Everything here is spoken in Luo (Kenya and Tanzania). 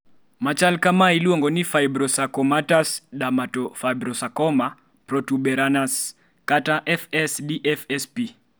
machal ka ma iluongo ni fibrosarcomatous dermatofibrosarcoma protuberans kata FS-DFSP